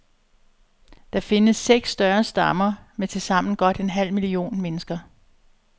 Der findes seks større stammer med tilsammen godt en halv million mennesker.